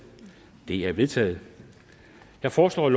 de er vedtaget jeg foreslår at